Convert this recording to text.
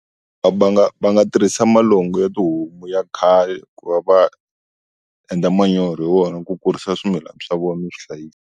Va nga va nga tirhisa malango ya tihomu ya khale ku va va va endla manyoro hi wona ku kurisa swimilana swa vona no swi hlayisa.